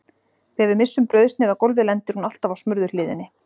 Þegar við missum brauðsneið á gólfið lendir hún alltaf á smurðu hliðinni.